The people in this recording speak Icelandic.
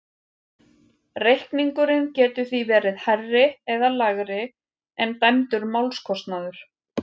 Reikningurinn getur því verið hærri eða lægri en dæmdur málskostnaður.